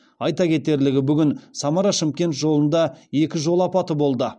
айта кетерлігі бүгін самара шымкент жолында екі жол апаты болды